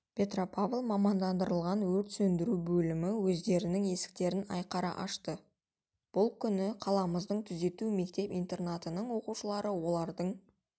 петропавл мамандандырылған өрт сөндіру бөлімі өздерінің есіктерін айқара ашты бұл күні қаламыздың түзету мектеп-интернатының оқушылары олардың